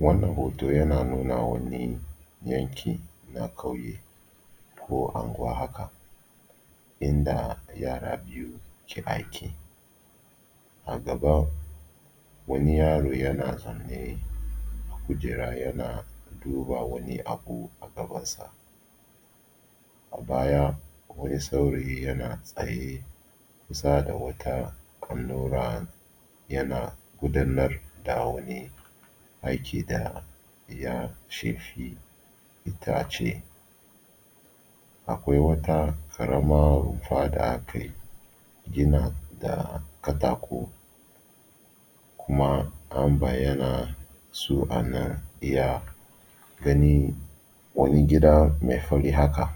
Wannan hoto yana nuna wani yanki na ƙauye ko anguwa haka inda yara biyu ke aiki, a gaban wani yaro yana zaune kujera yana duba wani abu a gabansa. A baya wani saurayi yana tsaye kusa da wata allo yana gudanar da wata aiki da ya shafi itace. Akwai wata ƙaramar rumfa da aka gina da katako kuma an bayyana su anan iya gani wani gida mai fari haka.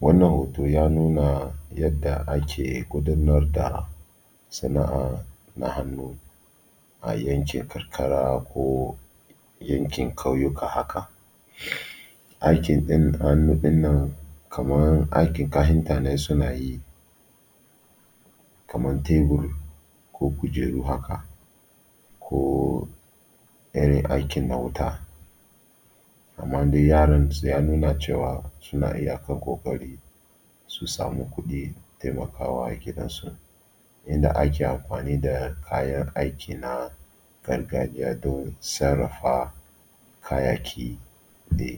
Wannan hoto ya nuna yanda ake gudanar da sana’a na hannu a yankin karkara ko yankin ƙauyuka haka. Aikin irin hannu ɗinnan kamar aikin kahinta ne suna yi kamar teburko kujeru haka ko irin aikin na wuta. Amma yaronsu ya nuna cewa suna iyakan ƙoƙari su samu kuɗin taimakawa gidansu inda ake amfani da kayan aiki na gargajiya don sarrafa kayyaki da.